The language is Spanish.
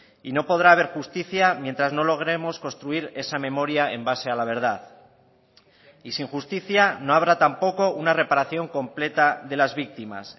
y no podrá haber justicia mientras no logremos construir esa memoria en base a la verdad y sin justicia no habrá tampoco una reparación completa de las víctimas